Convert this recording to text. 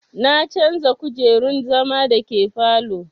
Na canja kujerun zama da ke falow